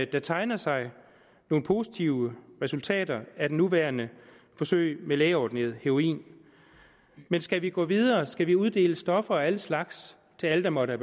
der tegner sig nogle positive resultater af det nuværende forsøg med lægeordineret heroin men skal vi gå videre skal vi uddele stoffer af alle slags til alle der måtte